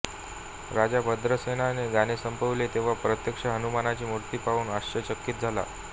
राजा भद्रसेनाने गाणे संपविले तेव्हा प्रत्यक्ष हनुमानाची मूर्ती पाहून आश्चर्यचकित झाला